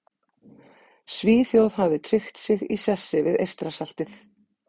Svíþjóð hafði tryggt sig í sessi við Eystrasaltið.